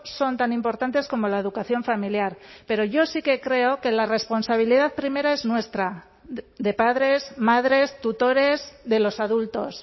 son tan importantes como la educación familiar pero yo sí que creo que la responsabilidad primera es nuestra de padres madres tutores de los adultos